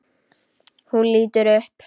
Hún lítur upp.